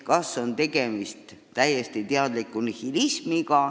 Kas on tegemist täiesti teadliku nihilismiga?